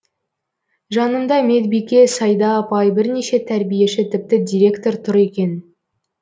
жанымда медбике сайда апай бірнеше тәрбиеші тіпті директор тұр екен